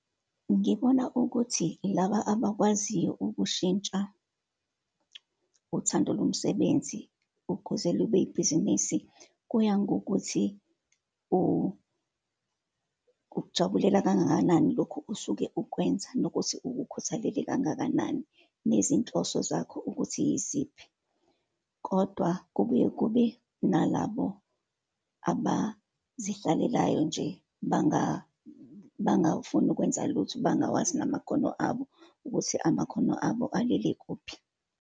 Ngibona ukuthi laba abakwaziyo ukushintsha uthando lomsebenzi ukuze libe ibhizinisi. Kuya ngokuthi ukujabulela kangakanani lokhu osuke ukwenza, nokuthi ukukhuthalele kangakanani, nezinhloso zakho ukuthi yiziphi. Kodwa kubuye kube nalabo abazidlalelayo nje, bangawufuni ukwenza lutho, bangawazi namakhono abo, ukuthi amakhono abo alele kuphi.